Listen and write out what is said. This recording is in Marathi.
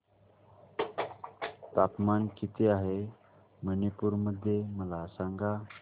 तापमान किती आहे मणिपुर मध्ये मला सांगा